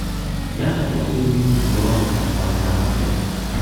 я хотел бы изменить бронь на два дня в отеле